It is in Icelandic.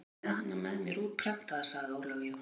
Ég er með hana með mér útprentaða, sagði Jón Ólafur.